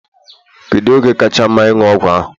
Kedụ oge kacha mma ịṅụ ọgwụ ahụ?